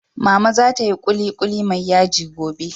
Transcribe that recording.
Mama za ta yi kulikuli mai yaji gobe